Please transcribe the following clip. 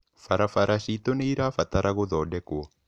Barabara ciitũ nĩ irabatara gũthondekwo.